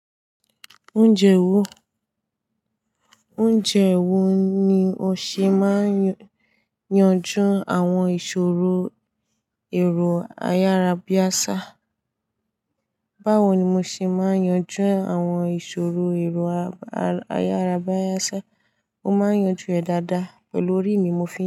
Oúnjẹ wo, oúnjẹ wo ni o ṣe máa ń yanjú àwọn ìṣòro èrò ayárábiásá? Báwo ni mo ṣe máa ń yanjú àwọn ìṣòro èrò ayárábiásá? Mo máa ń yanjú ẹ̀ dáadáa, pẹ̀lú orí mi mo fi n.